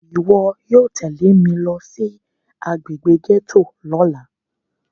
Iwọ yóò tẹle mi lo si agbegbe gẹto lọla!